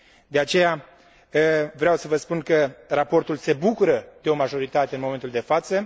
De aceea, vreau să vă spun că raportul se bucură de o majoritate în momentul de față.